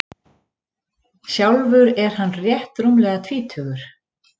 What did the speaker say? Sjálfur er hann rétt rúmlega tvítugur